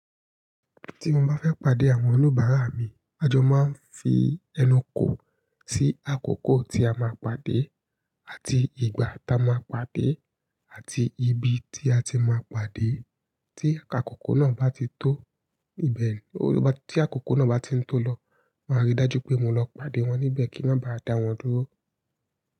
Tí mo bá fẹ́ pàdé àwọn oníbàárà mi, a jọ máa ń fi ẹnu kò sí àkókò tí a máa pàdé àti ìgbà tá a máa pàdé àti ibi tí a ti máa pàdé. Tí àkókò náà bá ti tó ibẹ̀ ni, tí àkókò náà bá ti ń tó lọ, máa rí dájú pé mo lọ pàdé wọn níbẹ̀ kí wọ́n bá dà wọ́n dúró.